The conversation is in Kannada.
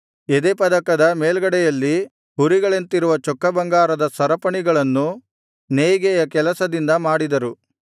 ಎದೆಪದಕದ ಮೇಲ್ಗಡೆಯಲ್ಲಿ ಹುರಿಗಳಂತಿರುವ ಚೊಕ್ಕಬಂಗಾರದ ಸರಪಣಿಗಳನ್ನು ನೇಯ್ಗೆಯ ಕೆಲಸದಿಂದ ಮಾಡಿದರು